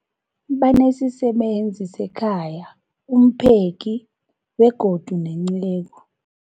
Banesisebenzi sekhaya, umpheki, begodu nenceku.